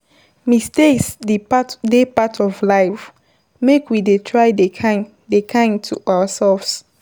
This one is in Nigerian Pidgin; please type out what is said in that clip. Mistakes dey part of life, make we dey try dey kind dey kind to ourselves